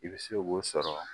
I bɛ se k'o sɔrɔ